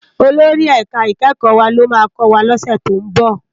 Ólórì èká ikèékò wá ló má kòwá lòsè tó n bò